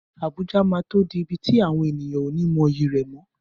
Abuja máa tó di ibi tí àwọn ènìyàn ó ní mọyì rẹ̀ mọ́.